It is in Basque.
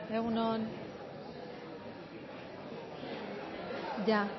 egun on ya